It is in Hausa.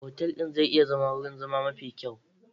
Otal ɗin zai iya zama wurin zama mafi kyau.